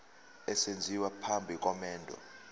esenziwa phambi komendo